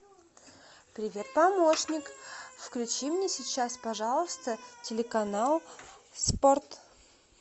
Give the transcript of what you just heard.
привет помощник включи мне сейчас пожалуйста телеканал спорт